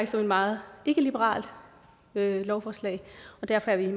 som et meget ikkeliberalt lovforslag og derfor er vi